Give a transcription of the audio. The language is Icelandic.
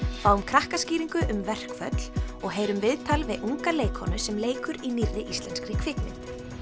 fáum um verkföll og heyrum viðtal við unga leikkonu sem leikur í nýrri íslenskri kvikmynd